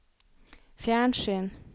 fjernsyn